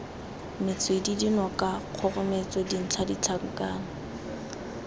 metswedi dinoka kgogometso dintlha ditlhakatlhake